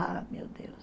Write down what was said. Ah, meu Deus!